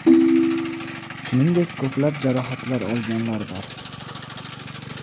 Shuningdek, ko‘plab jarohat olganlar bor.